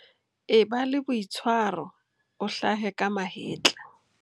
E ba le boitshwaro, o hlahe ka mahetla.